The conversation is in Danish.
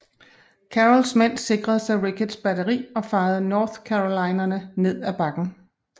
Carrolls mænd sikrede sig Ricketts batteri og fejede North Carolinerne ned af bakken